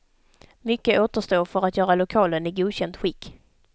Mycket återstår för att göra lokalen i godkänt skick.